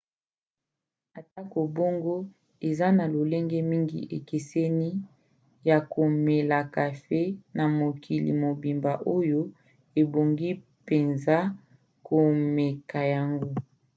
atako bongo eza na lolenge mingi ekeseni ya komela kafe na mokili mobimba oyo ebongi mpenza komeka yango